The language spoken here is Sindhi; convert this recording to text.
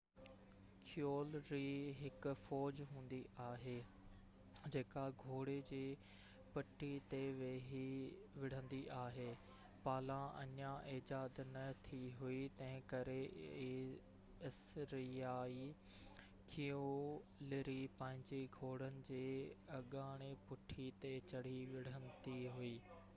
ڪيولري هڪ فوج هوندي آهي جيڪا گھوڙي جي پٺي تي ويهي وڙھندي آھي پالان اڃان ايجاد نه ٿي هئي تنهنڪري اسريائي ڪيولري پنهنجي گهوڙن جي اگهاڙي پٺي تي چڙهي وڙهندي هئي